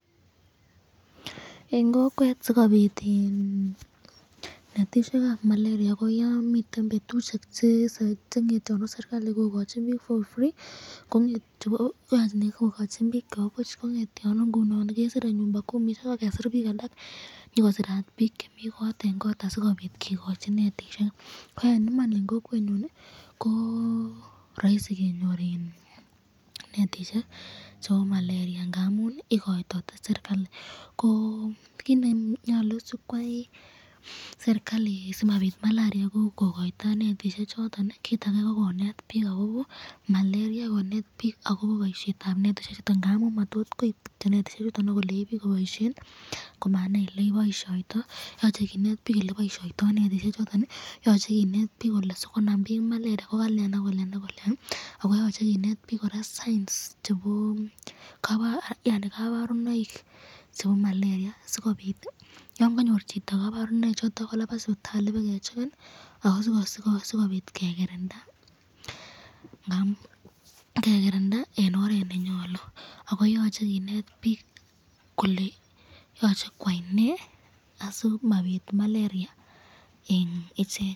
En kokwet sikobit iin netishek ab maleria ko yon miten betushek chengetote serikali kokochinote bik for free kongete yaani kokochi bik chebobuch kongetyonu ngunon kesire nyumba kumi sipakesir bik alak nyokosirat bik chemi kot en kot sikopit kikochi netishek, ko en iman en kokwenyun koo roisi kenyor iin netishek chebo malaria ngamun ikoitoite sirkali koo kit nenyolu sipkwai serikali simapit malaria ko inkokoito netishek choton kit age ko konet bik akobo malaria, konet bik akobo boshet ab netishek chutok ngamun motot kiib kityok netishek chutok ak kolenji bik koboishen komanai ole kiboishoito. Yoche kinet bik ole kiboishoito netishek chutok, yoche kinet bik kole sikonzam bik malaria ko kalian ak kolian ak kolian ako yoche kinet bik kora signs chebo yaani konborunoik chebo malaria sikopit yon konyor chito koborunoik choton kolaban sipitali kobakecheken ako sikopit kekirinda ngamun kekirinda en oret nenyolu ako yoche kinet bik kole yoche kwai nee asimapit malaria en ichek.